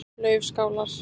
Laufskálar